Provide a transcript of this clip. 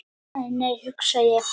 Æ, nei hugsa ég.